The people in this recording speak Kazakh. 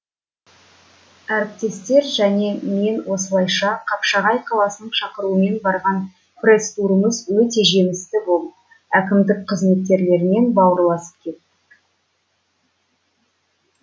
әріптестер және мен осылайша қапшағай қаласының шақыруымен барған пресс турымыз өте жемісті болып әкімдік қызметкерлерімен бауырласып кеттік